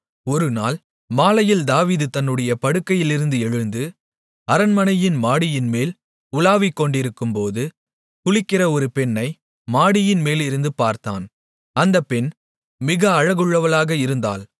ஒருநாள் மாலையில் தாவீது தன்னுடைய படுக்கையிலிருந்து எழுந்து அரண்மனை மாடியின்மேல் உலாவிக்கொண்டிருக்கும்போது குளிக்கிற ஒரு பெண்ணை மாடியின் மேலிருந்து பார்த்தான் அந்த பெண் மிக அழகுள்ளவளாக இருந்தாள்